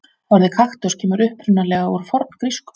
Orðið kaktus kemur upprunalega úr forngrísku.